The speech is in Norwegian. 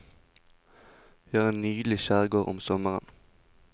Vi har en nydelig skjærgård om sommeren.